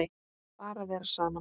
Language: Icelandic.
Bara vera saman.